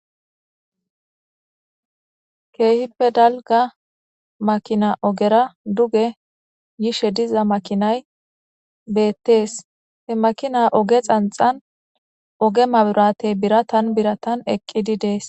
Kehippe daliga makina ogera duge yishe diza makinay betes he makina oge hinixa oge mabiratey biratani biratani eqidi de'es